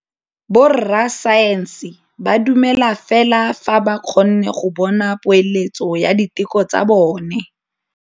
Borra saense ba dumela fela fa ba kgonne go bona poeletsô ya diteko tsa bone.